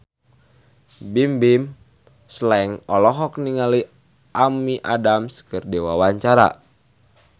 Bimbim Slank olohok ningali Amy Adams keur diwawancara